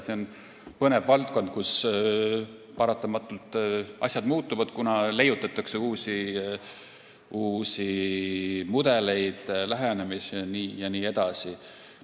See on põnev valdkond, kus paratamatult asjad muutuvad, kuna leiutatakse uusi mudeleid, lähenemisi jne.